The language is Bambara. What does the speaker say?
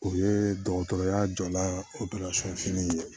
O ye dɔgɔtɔrɔya jɔ la fini ye